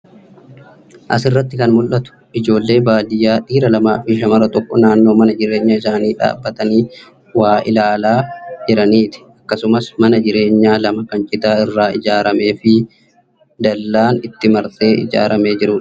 Asirratti kan mul'atu ijoollee baadiyyaa dhiira lamaafi shamara tokko naannoo Mana jireenyaa isaanii dhaabbatanii waa ilaalaa jiraniiti. Akkasumas, Mana jireenyaa lama kan citaa irraa ijaarameefi dallaan itti marsee ijaaramee jiruuti.